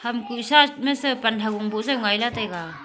ham kuh side ma se pan ha gon bow jaw ngaI lah taiga.